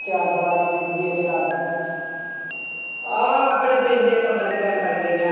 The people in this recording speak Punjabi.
ਚਾਰ ਦੀਵਾਰੀ ਦੇ gate ਲੱਗ ਗਿਆ ਆਹ ਆਪਣੇ ਪਿੰਡ ਦੀਆਂ ਕਬਰਾਂ ਦੀ ਗੱਲ ਕਰਨ ਡਈ ਆਂ।